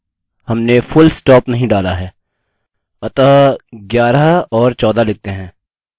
अतः 11 और 14 लिखते हैं